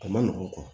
A ma nɔgɔ